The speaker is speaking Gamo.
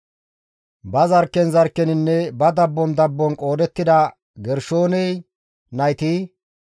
Ba zarkken zarkkeninne ba dabbon dabbon qoodettida Gershoone nayti,